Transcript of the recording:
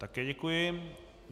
Také děkuji.